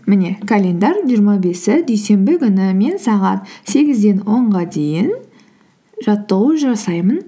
міне календарьдің жиырма бесі дүйсенбі күні мен сағат сегізден онға дейін жаттығу жасаймын